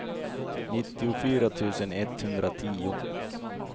nittiofyra tusen etthundratio